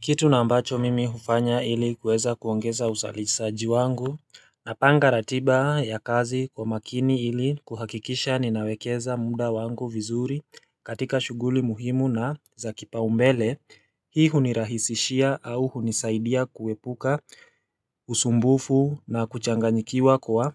Kitu na ambacho mimi hufanya ili kuweza kuongeza usalisaji wangu Napanga ratiba ya kazi kwa makini ili kuhakikisha ninawekeza muda wangu vizuri katika shughuli muhimu na za kipaumbele Hii hunirahisishia au hunisaidia kuwepuka usumbufu na kuchanganyikiwa kwa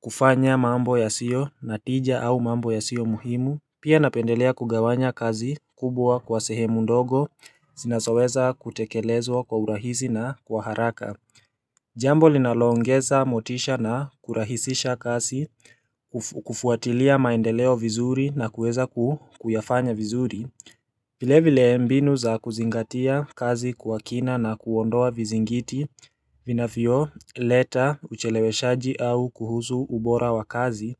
kufanya mambo yasiyo na tija au mambo yasio muhimu Pia napendelea kugawanya kazi kubwa kwa sehemu ndogo zinasoweza kutekelezwa kwa urahisi na kwa haraka Jambo linaloongeza motisha na kurahisisha kazi kufuatilia maendeleo vizuri na kuweza kuyafanya vizuri vile vile mbinu za kuzingatia kazi kwa kina na kuondoa vizingiti vinavyoleta uchelewe shaji au kuhusu ubora wa kazi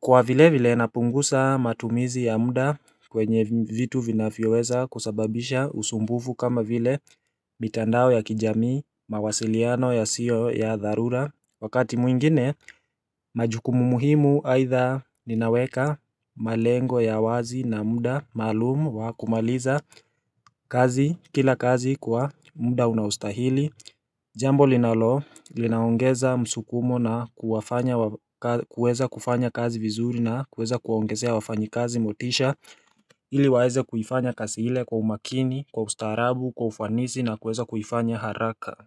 Kwa vile vile napungusa matumizi ya muda kwenye vitu vinavyoweza kusababisha usumbufu kama vile mitandao ya kijamii mawasiliano yasio ya dharura Wakati mwingine majukumu muhimu aidha ninaweka malengo ya wazi na muda maalumu wa kumaliza kazi kila kazi kwa muda unaostahili Jambo linalo, linaongeza msukumo na kuwafanya kuweza kufanya kazi vizuri na kuweza kuwaongezea wafanyakazi motisha ili waeze kuifanya kazi ile kwa umakini, kwa ustaarabu, kwa ufanisi na kuweza kuifanya haraka.